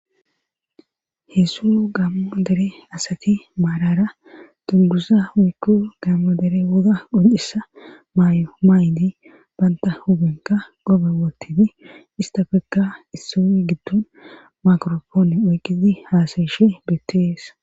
Heezu asati marara dunguza woykko gaamo dere woga mayo mayidi bantta huuphenkka qoophe wothidi istappekka isoy gidon mikrapone oykkidi haasayishe beetees.